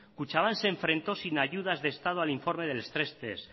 kutxabank se enfrentó sin ayudas de estado al informe de las tres t